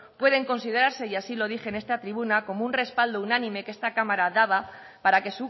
pueden considerarse y así lo dije en esta tribuna como un respaldo unánime que esta cámara daba para que